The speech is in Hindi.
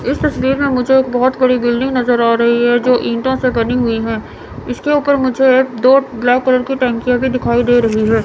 इस तस्वीर में मुझे एक बहुत बड़ी बिल्डिंग नजर आ रही है जो ईटों से बनी हुई है इसके ऊपर मुझे दो ब्लैक कलर की टंकिया भी दिखाई दे रही है।